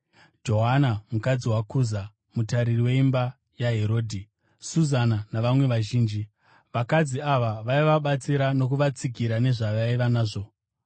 Joana mukadzi waKuza, mutariri weimba yaHerodhi, Suzana, navamwe vazhinji. Vakadzi ava vaivabatsira nokuvatsigira nezvavaiva nazvo.